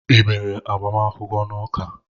I mere agbamakwụkwọ n'ụka?